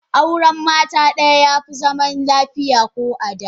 Auren mata daya yafi zaman lafiya ko a da.